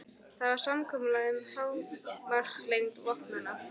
Það var samkomulag um hámarkslengd vopnanna.